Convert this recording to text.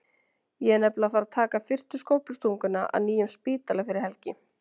Ég er nefnilega að fara að taka fyrstu skóflustunguna að nýjum spítala fyrir elgi.